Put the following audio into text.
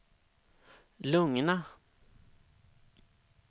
lugna